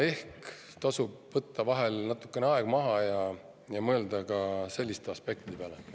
Ehk tasub vahel natukeseks aeg maha võtta ja mõelda ka selliste aspektide peale.